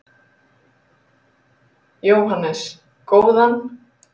Jóhannes: Góðan?